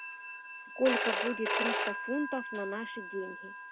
сколько будет триста фунтов на наши деньги